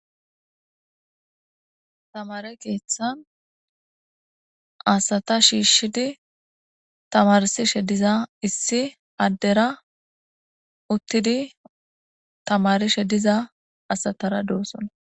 tamare keeththan asata shiishshidi tamarsishe diza issi addera uttidi tamarishe diza asatara doossona